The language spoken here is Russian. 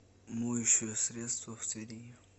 моющее средство в твери